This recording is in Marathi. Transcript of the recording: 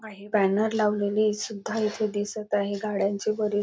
काही बॅनर लावलेले सुद्धा इथे दिसत आहे गाड्यांचे --